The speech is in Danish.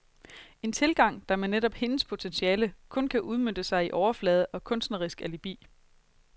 En tilgang, der med netop hendes potentiale kun kan udmønte sig i overflade og kunstnerisk alibi.